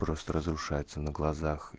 просто разрушается на глазах